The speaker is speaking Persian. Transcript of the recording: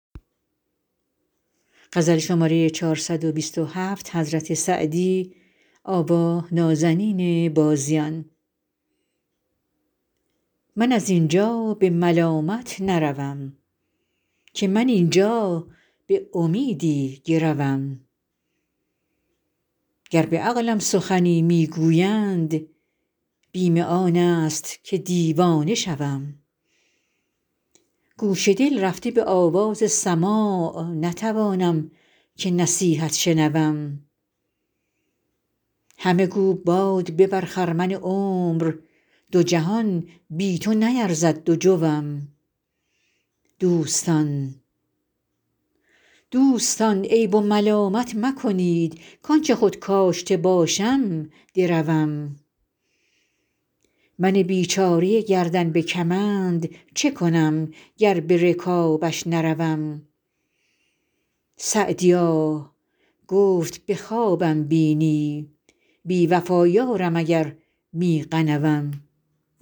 من از این جا به ملامت نروم که من این جا به امیدی گروم گر به عقلم سخنی می گویند بیم آن است که دیوانه شوم گوش دل رفته به آواز سماع نتوانم که نصیحت شنوم همه گو باد ببر خرمن عمر دو جهان بی تو نیرزد دو جوم دوستان عیب و ملامت مکنید کآن چه خود کاشته باشم دروم من بیچاره گردن به کمند چه کنم گر به رکابش نروم سعدیا گفت به خوابم بینی بی وفا یارم اگر می غنوم